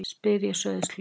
spyr ég sauðsleg.